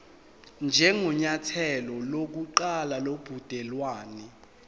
njengenyathelo lokuqala lobudelwane